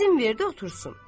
İzin verdi otursun.